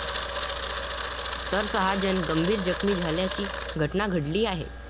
तर सहा जण गंभीर जखमी झाल्याची घटना घडली आहे.